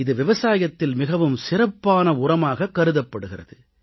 இது விவசாயத்தில் மிகவும் சிறப்பான உரமாகக் கருதப்படுகிறது